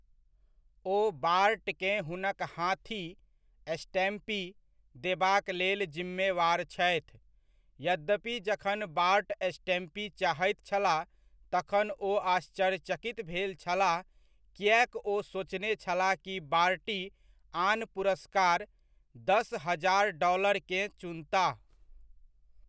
ओ बार्टकेँ हुनक हाथी, स्टैम्पी, देबाक लेल जिम्मेवार छथि, यद्यपि जखन बार्ट स्टैम्पी चाहैत छलाह तखन ओ आश्चर्यचकित भेल छलाह किएक ओ सोचने छलाह कि बार्टी आन पुरस्कार, दस हजार डॉलरकेँ चुनताह।